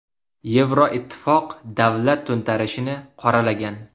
Yevroittifoq davlat to‘ntarishini qoralagan.